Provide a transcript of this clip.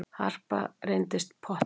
Harpa reyndist pottþétt